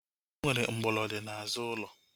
Enwere mgbolodi n'azụ ulo